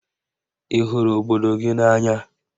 Ị hụrụ obodo gị n'anya?